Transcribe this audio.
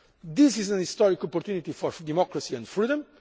This is a historic opportunity for democracy and freedom.